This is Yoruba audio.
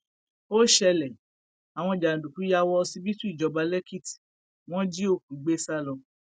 ó ṣẹlẹ àwọn jàǹdùkú yà wọ ọsibítù ìjọba lẹkìtì wọn jí òkú gbé sá lọ